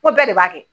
Ko bɛɛ de b'a kɛ